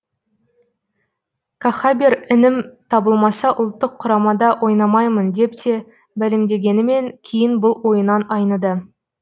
кахабер інім табылмаса ұлттық құрамада ойнамаймын деп те мәлімдегенімен кейін бұл ойынан айныды